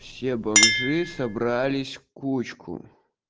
все бомжи собрались в кучку